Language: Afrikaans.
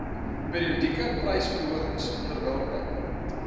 periodieke prysverhogings onderworpe